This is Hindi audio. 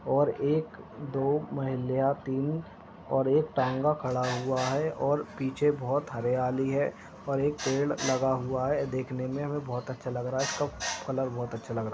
और एक दो माहिल्या तीन और एक टांगा खड़ा हुआ है और पीछे बोहोत हरयाली है और एक पेड़ लगा हुआ है देखने में हमें बोहोत अच्छा लग रहा है इसका कलर बोहोत अच्छा लग रहा है।